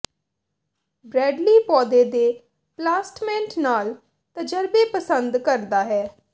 Bradley ਪੌਦੇ ਦੇ ਪਲਾਸਟਮੈਂਟ ਨਾਲ ਤਜਰਬੇ ਪਸੰਦ ਕਰਦਾ ਹੈ